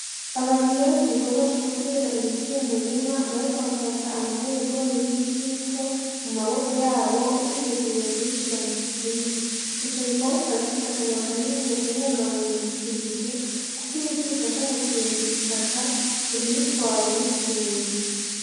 Abantu bari mu gikorwa co gutera ibiti mu murima bariko bafata amagorigori y'ibiti bito mu maboko yabo biteguriye kubishira mu kuzimu ico gikorwa kikaba gifise akamaro kanini mu kubungabunga ibidukikije kuko ibiti bidufasha gukingira itaka ngo ntiritwarwe n'isuri.